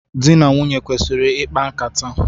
Dị na nwunye kwesịrị ikpa nkata.